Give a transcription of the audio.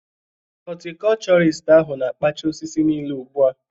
Hotikochorist ahu na-kpacha osisi niile ugbu a